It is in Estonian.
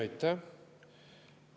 Aitäh!